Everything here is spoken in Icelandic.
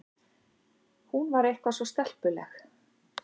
Hún var eitthvað svo stelpuleg.